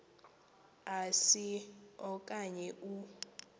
asi okanye u